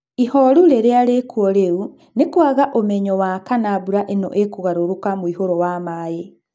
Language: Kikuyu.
Ihoru rirĩa rĩkuo rĩu nĩ kũaga ũmenyo wa kana mbũra ĩno ĩkũgarũrũka mũihũro wa maĩ.